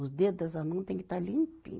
Os dedo da sua mão têm que estar limpinho.